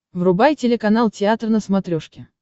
врубай телеканал театр на смотрешке